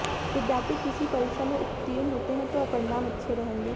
विद्यार्थी किसी परीक्षा में उतीर्ण होते हैं तो परिणाम अच्छे रहेंगे